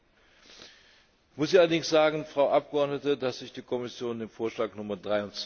Hier muss ich allerdings sagen, Frau Abgeordnete, dass sich die Kommission dem Vorschlag Nr.